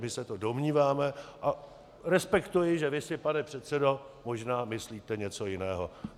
My se to domníváme a respektuji, že vy si, pane předsedo, možná myslíte něco jiného.